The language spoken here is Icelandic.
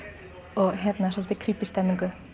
og svolítið krípí stemningu